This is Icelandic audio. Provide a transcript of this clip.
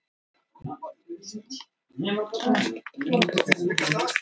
Fyrsti leikurinn í ensku úrvaldsdeildinni fór fram í dag.